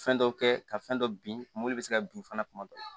Fɛn dɔ kɛ ka fɛn dɔ bin bɛ se ka bin fana tuma dɔ la